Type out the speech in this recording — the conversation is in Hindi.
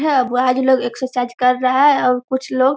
है बॉयज लोग एक्सरसाइज कर रहे हैं और कुछ लोग --